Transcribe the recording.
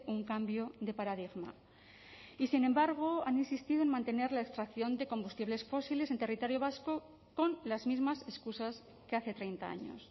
un cambio de paradigma y sin embargo han insistido en mantener la extracción de combustibles fósiles en territorio vasco con las mismas excusas que hace treinta años